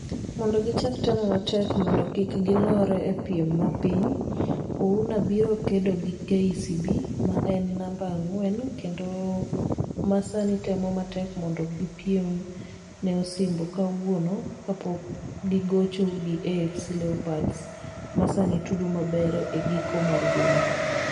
Mondo gichak temo matek mondo kik golor e piem mapiny, Ouna biro kedo gi KCB ma en namba ang'wen, kendo ma sani temo matek mondo gipiem ne osimbo kawuono kapok gigocho gi AFC Leopards ma sani tugo maber e giko mar juma.